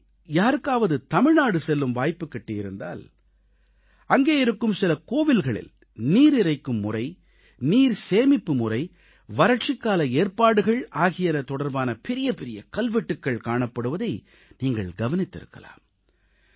உங்களில் யாருக்காவது தமிழ்நாடு செல்லும் வாய்ப்பு கிட்டியிருந்தால் அங்கே இருக்கும் சில கோவில்களில் நீரிறைக்கும் முறை நீர் சேமிப்புமுறை வறட்சிக்கால ஏற்பாடுகள் ஆகியன தொடர்பான பெரிய பெரிய கல்வெட்டுகள் காணப்படுவதை நீங்கள் கவனித்திருக்கலாம்